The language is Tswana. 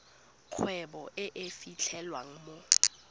kgwebo e e fitlhelwang mo